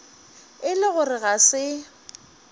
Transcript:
e le gore ga se